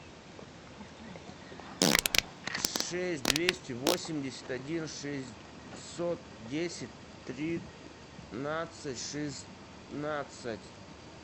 шесть двести восемьдесят один шестьсот десять тринадцать шестнадцать